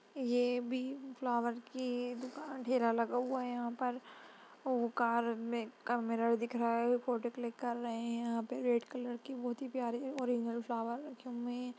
ये भी फ्लोवर कि दुकान ठेला लगा हुआ यहाँ पर और कार मे मिरर दिख रहा है फोटो क्लिक कर रहे है यहाँ पर रेड कलर कि बहुत ही प्यारी है ओरिजिनल फ्लावर रखे हुए है।